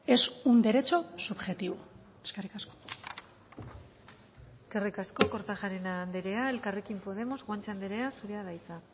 es un derecho subjetivo eskerrik asko eskerrik asko kortajarena andrea elkarrekin podemos guanche andrea zurea da hitza